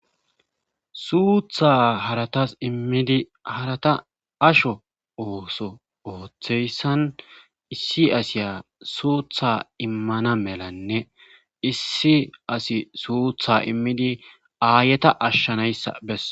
Suutha haratas immidi harata asho ooso ooththeyssan issi asiya suutha immana melanne issi asi suutha immidi aayeta ashshanayssa bes.